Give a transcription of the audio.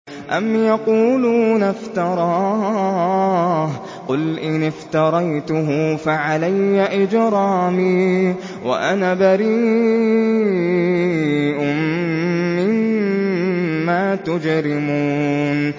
أَمْ يَقُولُونَ افْتَرَاهُ ۖ قُلْ إِنِ افْتَرَيْتُهُ فَعَلَيَّ إِجْرَامِي وَأَنَا بَرِيءٌ مِّمَّا تُجْرِمُونَ